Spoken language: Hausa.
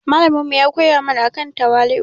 Malamin mu ya koya mana akan tawali'u.